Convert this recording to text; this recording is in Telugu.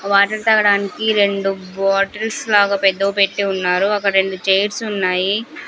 ఆ వాటర్ తాగడానికి రెండు బాటిల్స్ లాగా పెద్దవి పెట్టి ఉన్నారు అక్కడ రెండు చైర్స్ ఉన్నాయి.